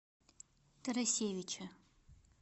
тарасевича